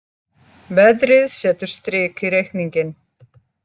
Veðrið setur strik í reikninginn